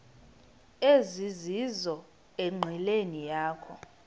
ezizizo enqileni yakho